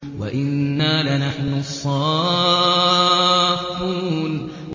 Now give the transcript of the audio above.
وَإِنَّا لَنَحْنُ الصَّافُّونَ